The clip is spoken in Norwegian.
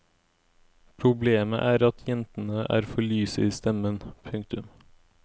Problemet er at jentene er for lyse i stemmen. punktum